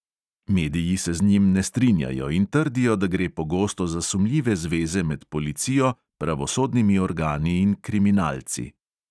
Mediji se z njim ne strinjajo in trdijo, da gre pogosto za sumljive zveze med policijo, pravosodnimi organi in kriminalci.